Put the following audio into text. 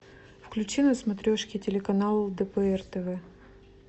включи на смотрешке телеканал лдпр тв